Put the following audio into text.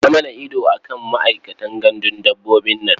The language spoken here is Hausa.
Sa mana ido a kan ma'aikatan gandun dabbobin nan.